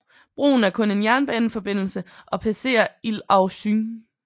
Broen er kun en jernbaneforbindelse og passerer Île aux Cygnes